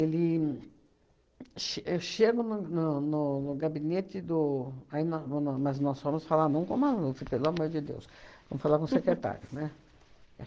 ch eu chego no no no no gabinete do, aí nó no nó mas nós fomos falar não com o Maluf, pelo amor de Deus, fomos falar com o secretário, né?